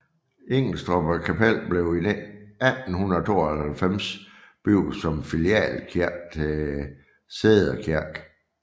Ingelstrup Kapel blev i 1892 bygget som filialkirke til Sædder Kirke